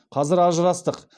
қазір ажырастық